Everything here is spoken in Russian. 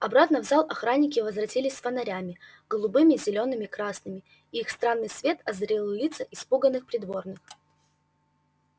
обратно в зал охранники возвратились с фонарями голубыми зелёными красными и их странный свет озарил лица испуганных придворных